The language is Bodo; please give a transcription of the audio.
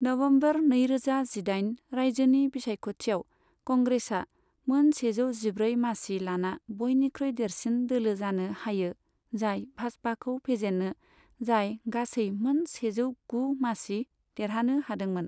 नवंबर नैरोजा जिदाइन, राज्योनि बिसायख'थियाव, कंग्रेसआ मोन सेजौ जिब्रै मासि लाना बयनिख्रुइ देरसिन दोलो जानो हायो, जाय भाजपाखौ फेजेनो जाय गासै मोन सेजौ गु मासि देरहानो हादोंमोन।